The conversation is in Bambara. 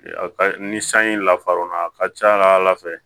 Ni sanji lafar'o na a ka ca ala fɛ